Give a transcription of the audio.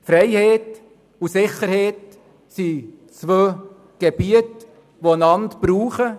Freiheit und Sicherheit sind zwei Bereiche, die zusammenhängen.